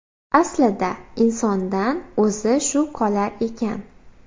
Aslida insondan o‘zi shu qolar ekan.